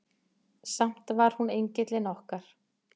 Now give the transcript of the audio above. Samt var hún engillinn okkar.